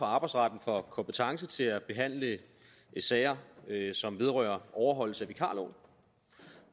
arbejdsretten får kompetence til at behandle sager som vedrører overholdelse af vikarloven